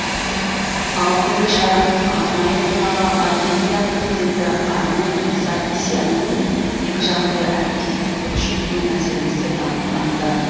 ауқымды шараның арнайы қонағы армения президенті армен саркисянмен екі жақты әріптестікті күшейту мәселесі талқыланды